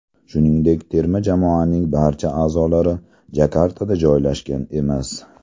Shuningdek, terma jamoaning barcha a’zolari Jakartada joylashgan emas.